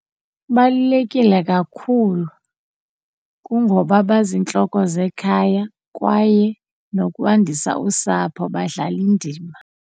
Kubalulekile kakhulu kungoba baziintloko zekhaya kwaye nokwandisa usapho badlala indima.